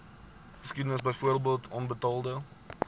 geskiedenis byvoorbeeld onbetaalde